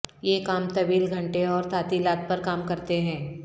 یہ کام طویل گھنٹے اور تعطیلات پر کام کرتے ہیں